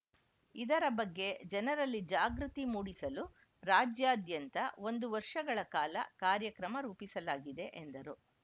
ಇದರ ಬಗ್ಗೆ ಜನರಲ್ಲಿ ಜಾಗೃತಿ ಮೂಡಿಸಲು ರಾಜ್ಯಾದ್ಯಂತ ಒಂದು ವರ್ಷಗಳ ಕಾಲ ಕಾರ್ಯಕ್ರಮ ರೂಪಿಸಲಾಗಿದೆ ಎಂದರು